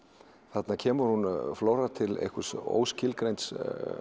þarna kemur flóra út til óskilgreinds